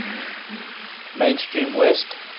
main stream west